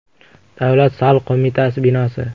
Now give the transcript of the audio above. Davlat soliq qo‘mitasi binosi.